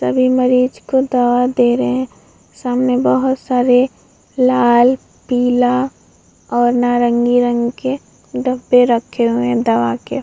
सभी मरीज को दवा दे रहें हैं सामने बहुत सारे लाल पीला और नारंगी रंग के डब्बे रखे हुए हैं दवा के।